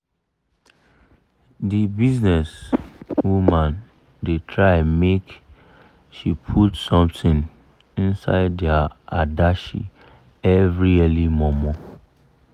d business woman da try make she put something inside dia adashi every early momo